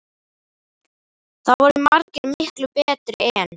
Það voru margir miklu betri en